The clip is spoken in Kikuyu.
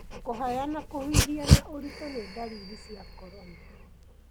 Kũhaya na kũhuhia na ũritũ ni ndariri cia corona.